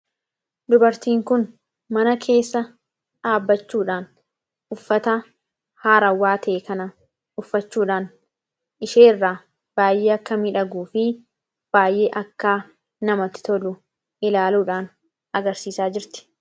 dubartiin kun mana keessa dhaabbachuudhaan uffata haarawwaa ta'e kana uffachuudhaan isheerraa baay'ee akka midhaguu fi baay'ee akka namati tolu ilaaluudhaan agarsiisaa jirti